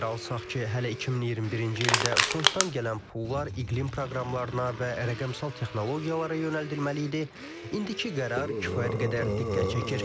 Nəzərə alsaq ki, hələ 2021-ci ildə fonddan gələn pullar iqlim proqramlarına və rəqəmsal texnologiyalara yönəldilməli idi, indiki qərar kifayət qədər diqqət çəkir.